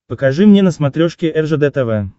покажи мне на смотрешке ржд тв